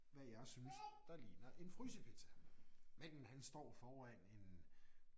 Hvad jeg synes der ligner en frysepizza. Manden han står foran en